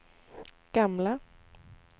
gamla